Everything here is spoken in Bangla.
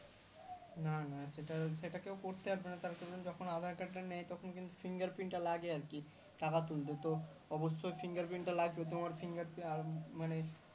না না সেটা সেটা কেউ করতে পারবে না তার কারণ যখন aadhar card টা নেয় তখন কিন্তু Fingerprint টা লাগে আরকি টাকা তুলতে ত অবশ্যই fingerprint লাগবে তোমার fingerprint আর মানে